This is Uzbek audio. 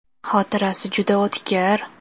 Xotirasi juda o‘tkir.